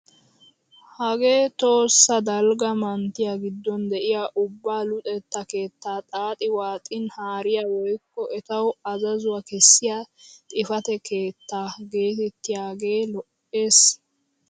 Hagee tohossa dalgga manttiyaa giddon de'iyaa ubba luxetta keettaa xaaxi waaxin haariyaa woykko etawu azazuwaa kessiyaa xifatee keettaa getettiyaage lo"ees!